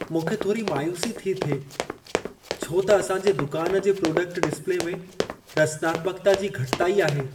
मूंखे थोरी मायूसी थी थिए छो त असांजे दुकान जे प्रोडक्ट डिस्प्ले में रचनात्मक्ता जी घटिताई आहे।